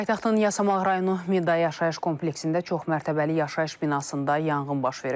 Paytaxtın Yasamal rayonu Midya yaşayış kompleksində çoxmərətəbəli yaşayış binasında yanğın baş verib.